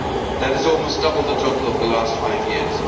That is almost double the total of the last five years.